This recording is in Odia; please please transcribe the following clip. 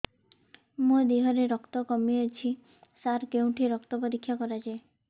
ମୋ ଦିହରେ ରକ୍ତ କମି ଅଛି ସାର କେଉଁଠି ରକ୍ତ ପରୀକ୍ଷା କରାଯାଏ